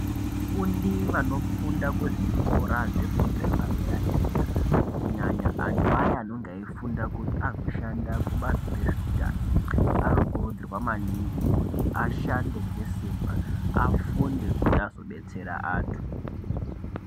Vafundi vanofunda kuzvikora zvefundo yepadera-dera, kunyanya antu aya anonga eifunda kuti azoshanda kubazi rezveutano. Anokurudzirwa maningi kuti ashande ngesimba, afunde kuti azodetsera antu.